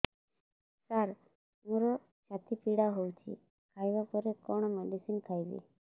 ସାର ମୋର ଛାତି ପୀଡା ହଉଚି ଖାଇବା ପରେ କଣ ମେଡିସିନ ଖାଇବି